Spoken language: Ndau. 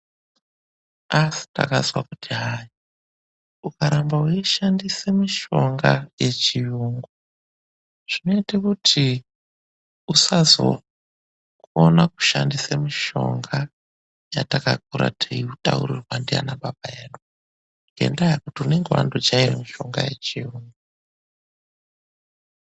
Asi takazwa kuti hayi, ukaramba weishandisa mushonga yechiyungu. Zvinoita kuti usazokona kushandisa mushonga yatakakura teitaurirwa ndiana baba edu. Ngendaa yekuti unenge wandojaera mishonga ye chiyungu.